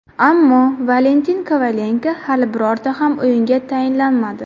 Ammo Valentin Kovalenko hali birorta ham o‘yinga tayinlanmadi.